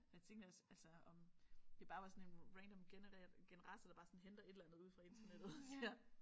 Jeg tænkte også altså om det bare var sådan en random genereret generator der bare sådan henter et eller andet ude fra internettet og siger